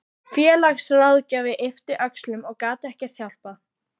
Félagsráðgjafinn yppti öxlum og gat ekkert hjálpað.